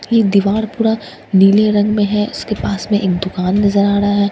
ये दीवार पूरा नीले रंग में है इसके पास में एक दुकान नज़र आ रहा है इस दीवा--